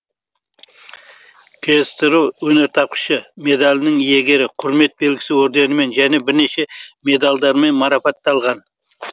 ксро өнертапқышы медалінің иегері құрмет белгісі орденімен және бірнеше медальдармен марапатталған